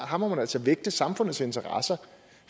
her må man altså vægte samfundets interesser